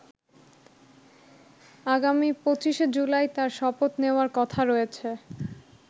আগামী ২৫শে জুলাই তার শপথ নেওয়ার কথা রয়েছে।